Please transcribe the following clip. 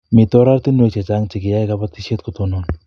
Mito oratinwek chechang che kiyae kabatiset kotonon